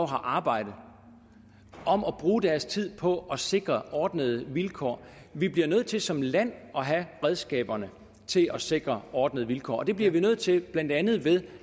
har arbejde om at bruge deres tid på at sikre ordnede vilkår vi bliver nødt til som land at have redskaberne til at sikre ordnede vilkår og det bliver vi nødt til blandt andet ved